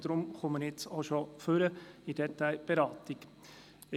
Deshalb trete ich jetzt bereits bei der Detailberatung ans Mikrofon.